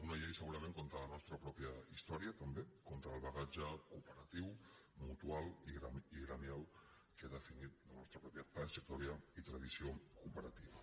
una llei segurament contra la nostra pròpia història també contra el bagatge cooperatiu mutual i gremial que ha definit la nostra pròpia trajectòria i tradició cooperatives